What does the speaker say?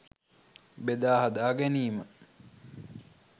බෙදා හදා ගැනීම